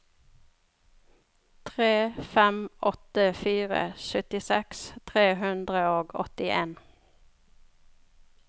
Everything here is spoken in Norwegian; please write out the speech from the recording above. tre fem åtte fire syttiseks tre hundre og åttien